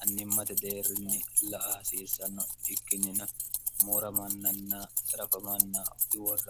annimmate deerrinni la a hasiissanno ikkinnina moora mannanna sarafamanna udiworraran